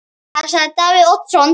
Hvað sagði Davíð Oddsson?